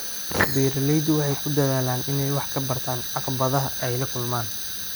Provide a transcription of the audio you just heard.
Beeraleydu waxay ku dadaalaan inay wax ka bartaan caqabadaha ay la kulmaan.